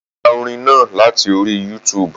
Mo ti gba orin náà láti orí Youtube